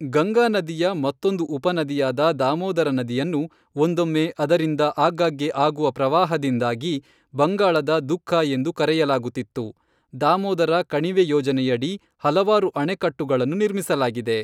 ಗಂಗಾನದಿಯ ಮತ್ತೊಂದು ಉಪನದಿಯಾದ ದಾಮೋದರ ನದಿಯನ್ನು, ಒಂದೊಮ್ಮೆ, ಅದರಿಂದ ಆಗಾಗ್ಗೆ ಆಗುವ ಪ್ರವಾಹದಿಂದಾಗಿ, ಬಂಗಾಳದ ದುಃಖ ಎಂದು ಕರೆಯಲಾಗುತ್ತಿತ್ತು, ದಾಮೋದರ ಕಣಿವೆ ಯೋಜನೆಯಡಿ ಹಲವಾರು ಅಣೆಕಟ್ಟುಗಳನ್ನು ನಿರ್ಮಿಸಲಾಗಿದೆ.